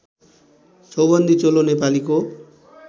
चौबन्दी चोलो नेपालीको